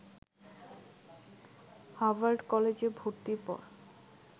Harvard কলেজে ভর্তির পর